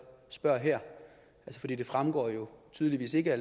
spørger her for det det fremgår jo tydeligvis ikke